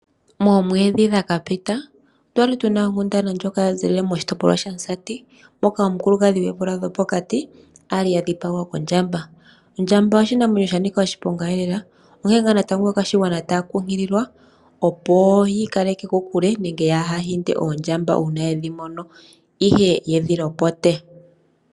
Moomwedhi dhakapita okwali tuna onkundana ndjoka ya zilile moshitopolwa shaMusati, moka omukulukadhi goomvula dhopokati ali adhipagwa kondjamba. Ondjamba oshinamwenyo sha nika oshiponga lela, onkene nga natango aakwashigwana taya kunkililwa opo yi ikaleke kokule nenge kaya hinde oondjamba una yedhi mono, ihe yedhi lopote.